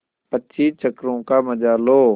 पच्चीस चक्करों का मजा लो